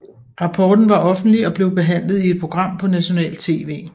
Rapporten var offentlig og blev behandlet i et program på nationalt tv